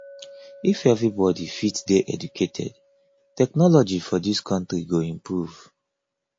if everybody fit dey educated technology for dis country go improve